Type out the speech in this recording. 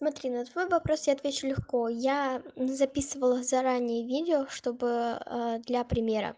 смотри на твой вопрос я отвечу легко я записывала заранее видео чтобы для примера